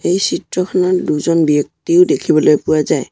এই চিত্ৰখনত দুজন ব্যক্তিও দেখিবলৈ পোৱা যায়।